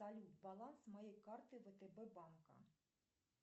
салют баланс моей карты втб банка